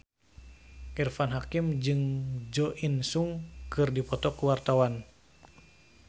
Irfan Hakim jeung Jo In Sung keur dipoto ku wartawan